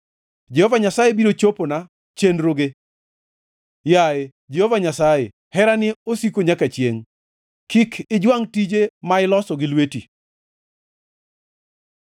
Jehova Nyasaye biro chopona chenroge; yaye Jehova Nyasaye, herani osiko nyaka chiengʼ: kik ijwangʼ tije ma iloso gi lweti.